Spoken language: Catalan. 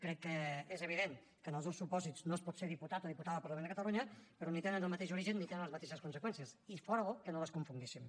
crec que és evident que en els dos supòsits no es pot ser diputat o diputada del parlament de catalunya però ni tenen el mateix origen ni tenen les mateixes conseqüències i fóra bo que no les confonguéssim